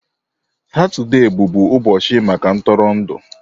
Satọde bụbu ụbọchị maka ntụrụndụ.